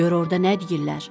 Gör orda nə deyirlər?